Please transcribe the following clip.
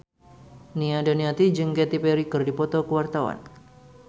Nia Daniati jeung Katy Perry keur dipoto ku wartawan